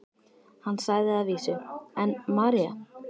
Hann sagði að vísu: en María?